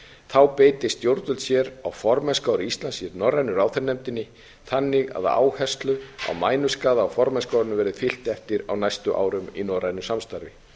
þá beiti stjórnvöld sér á formennskuári íslands í norrænu ráðherranefndinni þannig að áherslu á mænuskaða á formennskuárinu verði fylgt eftir á næstu árum í norrænu samstarfi